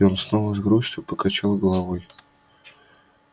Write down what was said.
и он снова с грустью покачал головой